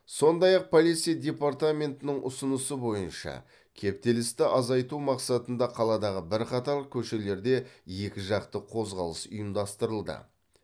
сондай ақ полиция департаментінің ұсынысы бойынша кептелісті азайтау мақсатында қаладағы бірқатар көшелерде екіжақты қозғалыс ұйымдастырылды